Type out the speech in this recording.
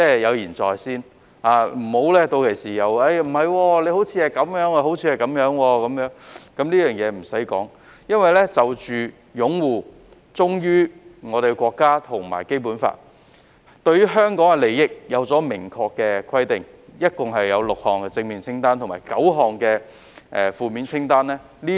有言在先，屆時便不可以說不是這樣、不是那樣，甚麼也不用多說，因為就着擁護《基本法》、忠於我們的國家及關於香港的利益，現已有明確的規定，並已清楚列舉出6項正面清單和9項負面清單。